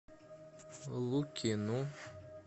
лукину